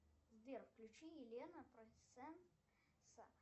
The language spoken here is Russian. сбер включи елена процент